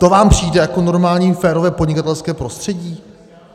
To vám přijde jako normální férové podnikatelské prostředí?